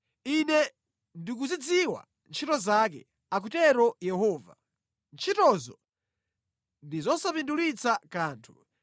Ine ndikuzidziwa ntchito zake, akutero Yehova. Ntchitozo ndi nʼzosapindulitsa kanthu.